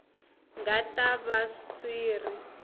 nga ta va swi ri